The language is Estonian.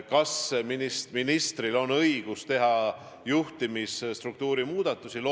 Kas ministril on õigus teha juhtimisstruktuuris muudatusi?